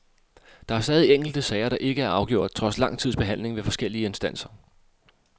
Der er stadig enkelte sager, der ikke er afgjort trods lang tids behandling ved forskellige instanser.